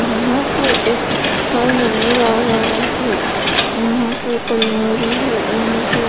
यहा पर एक घर नजर आ रहा है यहा पर एक --